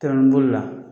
Tɛrɛmɛbolo la